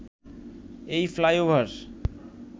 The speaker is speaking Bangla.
এই ফ্লাইওভার